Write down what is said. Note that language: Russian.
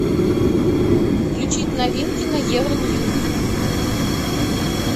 включить новинки на евроньюс